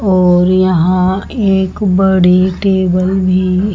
और यहां एक बड़ी टेबल भी --